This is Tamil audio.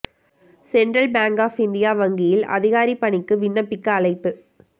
சென்டிரல் பேங்க் ஆப் இந்தியா வங்கியில் அதிகாரி பணிக்கு விண்ணப்பிக்க அழைப்பு